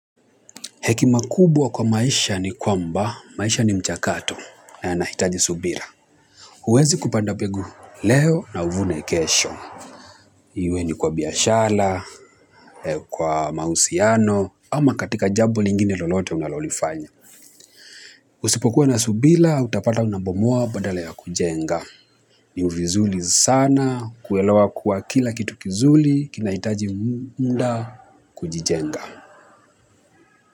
Hekima kubwa kwa maisha ni kwamba, maisha ni mchakato na yanahitaji subira. Huwezi kupanda mbegu leo na uvune kesho. Iwe ni kwa biashara, kwa mahusiano, ama katika jambo lingine lolote unalolifanya. Usipokuwa na subira, utapata unabomoa badala ya kujenga. Ni vizuri sana, kuelewa kuwa kila kitu kizuri, kinahitaji muda, kujijenga.